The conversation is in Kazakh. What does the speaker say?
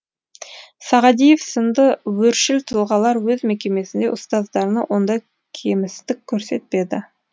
сағадиев сынды өршіл тұлғалар өз мекемесінде ұстаздарына ондай кемістік көрсетпеді